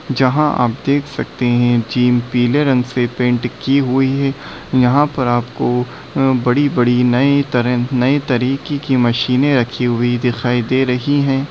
जहाँ आप देख सकते है जिम पीले रंग से पैंट की हुई है यहाँ पर आपको बड़ी बड़ी नए तरह नए तरीके की मशीनें रखी हुई दिखाई दे रही है।